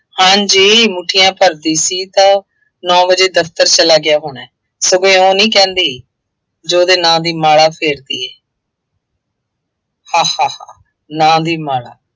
ਹਾਂਜੀ ਮੁੱਠੀਆਂ ਭਰਦੀ ਸੀ ਤਾਂ ਨੌ ਵਜੇ ਦਫਤਰ ਚਲਾ ਗਿਆ ਹੋਣਾ, ਸਗੋਂ ਇਉਂ ਨਹੀਂ ਕਹਿੰਦੀ। ਜੇ ਉਹਦੇ ਨਾਂ ਦੀ ਮਾਲਾ ਫੇਰਦੀ ਏ ਹਾ ਹਾ ਹਾ ਨਾਂ ਦੀ ਮਾਲਾ